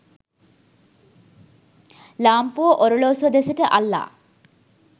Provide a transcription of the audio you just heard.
ලාම්පුව ඔරලෝසුව දෙසට අල්ලා